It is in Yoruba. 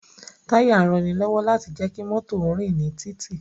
Táyà ń ranilọ́wọ́ láti jẹ́ kí mọ́tò ó rìn ní títì